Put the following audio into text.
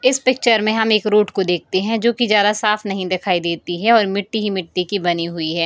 इस पिक्चर में हमें एक रोड को देखते हैं जो कि ज्यादा साफ नहीं दिखाई देती है और मिट्टी ही मिट्टी की बनी हुई है।